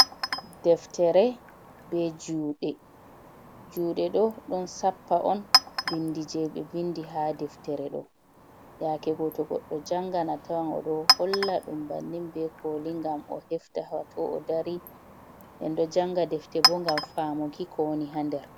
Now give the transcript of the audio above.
Deftere be juɗe, juɗe do, ɗon sappa, on bindi je be vindi ha deftere do, yake go to goɗɗo jangan a tawan odo Holl a ɗum bannin be koli, ngam o hefta ha to odari, en ɗo janga deftebo ngam famuki ko woni ha nder.